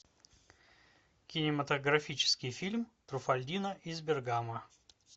кинематографический фильм труффальдино из бергамо